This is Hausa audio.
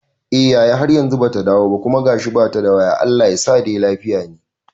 Eh yaya, har yanzu bata dawo ba kuma gashi bata da waya Allah yasa dai lafiya ne